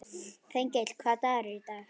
Þengill, hvaða dagur er í dag?